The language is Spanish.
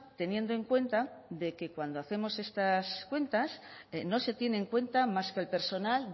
teniendo en cuenta de que cuando hacemos estas cuentas no se tiene en cuenta más que el personal